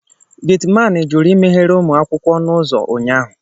Getiman jụrụ imeghere ụmụ akwụkwọ ọnụ ụzọ ụnyaahụ